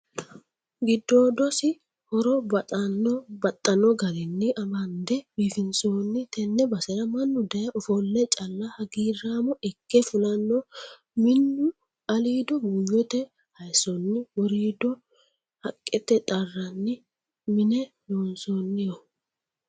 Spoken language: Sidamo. Giddoodosi horo baxxano garinni bande biifinsonni tene basera mannu daaye ofole calla hagiiramo ikke fulano minu aliido buuyote hayisonni woridoo haqqete xaranni mine loonsoniho.